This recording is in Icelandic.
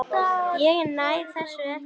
Ég næ þessu ekki.